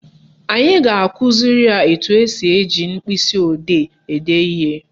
Anyị ga-akụziri ya etu esi eji mkpịsịodee ede ihe